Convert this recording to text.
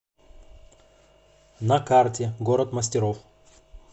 на карте город мастеров